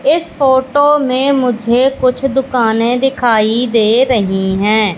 इस फोटो में मुझे कुछ दुकाने दिखाई दे रही है।